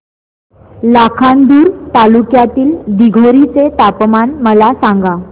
लाखांदूर तालुक्यातील दिघोरी चे तापमान मला सांगा